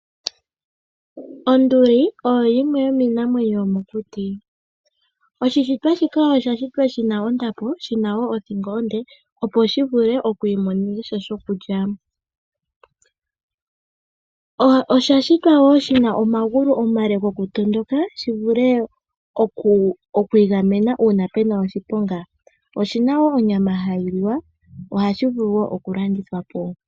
Onduli oyo yimwe yo miinamwenyo yo mokuti. Oshishitwa shika osha shitwa shina ondapo. Oshina woo othingo onde opo Shi vule oku imonenasha shoku lya. Osha shitwa woo shina omagulu omale goku tondoka shivule oku igamena uuna puna oshiponga. Oshina woo onyama hayi liwa sho ohashi vulu woo oku landithwa po.